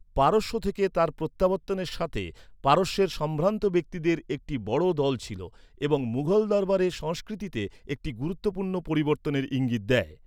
পারস্য থেকে তার প্রত্যাবর্তনের সাথে পারস্যের সম্ভ্রান্ত ব্যক্তিদের একটি বড় দল ছিল এবং মুঘল দরবারের সংস্কৃতিতে একটি গুরুত্বপূর্ণ পরিবর্তনের ইঙ্গিত দেয়।